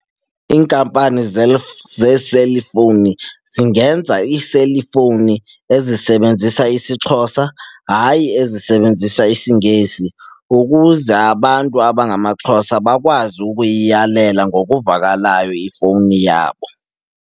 Iinkampani zeeselifowuni zingenza iselifowuni ezisebenzisa isiXhosa, hayi ezisebenzisa isiNgesi ukuze abantu abangamaXhosa bakwazi ukuyiyalela ngokuvakalayo ifowuni yabo.